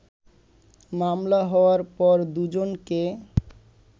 মামলা হওয়ার পর দুজনকে